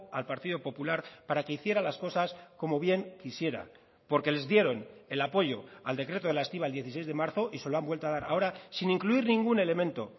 al partido popular para que hiciera las cosas como bien quisiera porque les dieron el apoyo al decreto de la estiba el dieciséis de marzo y se lo han vuelto a dar ahora sin incluir ningún elemento